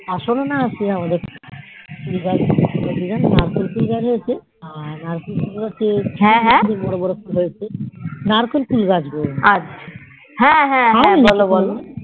আসলে না আমাদের আর আমাদের বোরো হয়েছে নারকোল ফুল গাছ হ্ম বোলো বোলো